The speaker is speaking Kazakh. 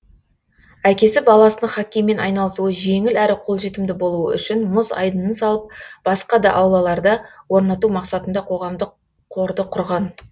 әкесі баласының хоккеймен айналысуы жеңіл әрі қолжетімді болуы үшін мұз айдынын салып басқа да аулаларда орнату мақсатында қоғамдық қорды құрған